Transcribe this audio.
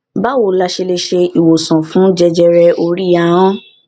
báwo la ṣe lè se iwosan fun jẹjẹre ori ahan